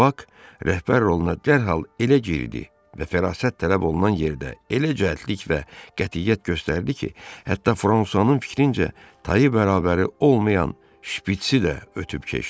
Bax rəhbər roluna dərhal elə girdi və fərasət tələb olunan yerdə elə cəldlik və qətiyyət göstərdi ki, hətta Fransuanın fikrincə Tayı bərabəri olmayan şpitsi də ötüb keçdi.